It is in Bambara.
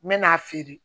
N mɛ n'a feere